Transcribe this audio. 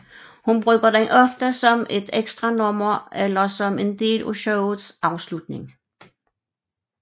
Hun bruger den ofte som et ekstranummer eller som en del af showets afslutning